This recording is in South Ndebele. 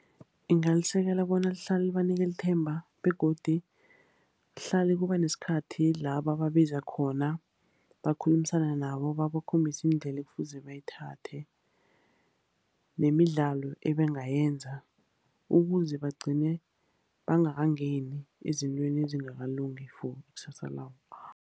Ngingalisekela bona lihlale libanikela ithemba, begodu lihlale kuba nesikhathi la bababiza khona. Bakhulumisane nabo, babakhombise iindlela ekufuze bayithathe, nemidlalo ebangayenza. Ukuze bagcine bangangeni ezintweni ezingakalungi for ikusasa labo.